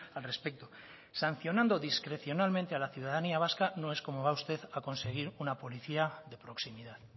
al respecto sancionando discrecionalmente a la ciudadanía vasca no es como va usted a conseguir una policía de proximidad